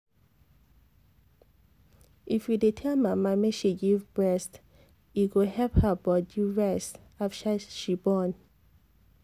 if you dey tell mama make she give breast e go help her body rest after she born.